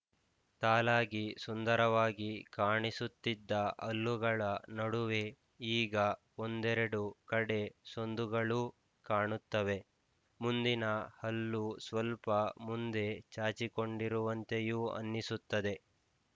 ಸಾಲಾಗಿ ಸುಂದರವಾಗಿ ಕಾಣಿಸುತ್ತಿದ್ದ ಹಲ್ಲುಗಳ ನಡುವೆ ಈಗ ಒಂದೆರಡು ಕಡೆ ಸಂದುಗಳೂ ಕಾಣುತ್ತವೆ ಮುಂದಿನ ಹಲ್ಲು ಸ್ವಲ್ಪ ಮುಂದೆ ಚಾಚಿಕೊಂಡಿರುವಂತೆಯೂ ಅನ್ನಿಸುತ್ತದೆ